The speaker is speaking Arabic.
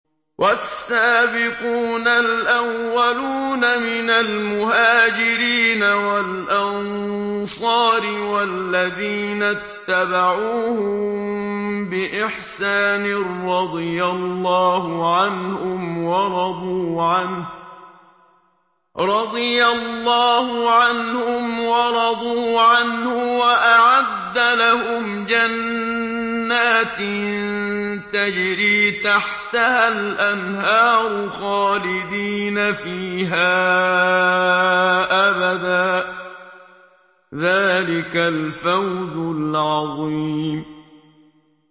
وَالسَّابِقُونَ الْأَوَّلُونَ مِنَ الْمُهَاجِرِينَ وَالْأَنصَارِ وَالَّذِينَ اتَّبَعُوهُم بِإِحْسَانٍ رَّضِيَ اللَّهُ عَنْهُمْ وَرَضُوا عَنْهُ وَأَعَدَّ لَهُمْ جَنَّاتٍ تَجْرِي تَحْتَهَا الْأَنْهَارُ خَالِدِينَ فِيهَا أَبَدًا ۚ ذَٰلِكَ الْفَوْزُ الْعَظِيمُ